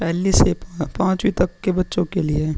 पहली से पांचवी तक के बच्चो के लिए --